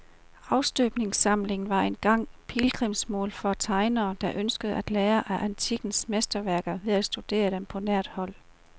Afstøbningssamlingen var engang pilgrimsmål for tegnere, der ønskede at lære af antikkens mesterværker ved at studere dem på nært hold.